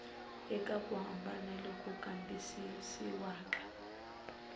eka ku hambana loku kambisisiwaka